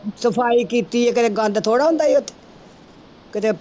ਸਫ਼ਾਈ ਕੀਤੀ ਹੈ ਕਦੇ ਗੰਦ ਥੋੜ੍ਹਾ ਹੁੰਦਾ ਸੀ ਉੱਥੇ ਕਿਤੇ